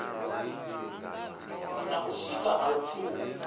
na u sikwa ha lupfumo